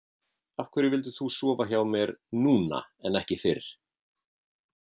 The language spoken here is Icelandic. Af hverju vildir þú sofa hjá mér núna en ekki fyrr?